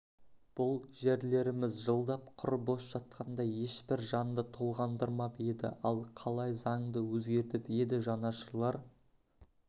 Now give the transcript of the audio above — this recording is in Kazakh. бұл жерлеріміз жылдап құр бос жатқанда ешбір жанды толғандырмап еді ал қалай заңды өзгертіп еді жанашырлар